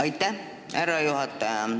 Aitäh, härra juhataja!